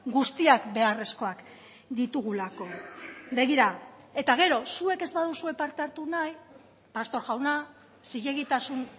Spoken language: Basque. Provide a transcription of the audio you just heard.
guztiak beharrezkoak ditugulako begira eta gero zuek ez baduzue parte hartu nahi pastor jauna zilegitasun